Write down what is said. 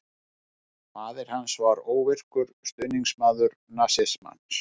Faðir hans var óvirkur stuðningsmaður nasismans.